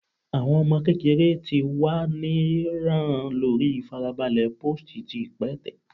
Awọn ọmọ kekere ti wa ni ran lori farabale post ti ipẹtẹ